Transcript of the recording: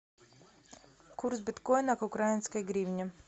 курс биткоина к украинской гривне